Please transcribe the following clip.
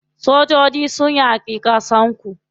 Sojoji sunyi wa ƙasar ku.